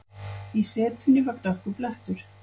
Í setunni var dökkur blettur.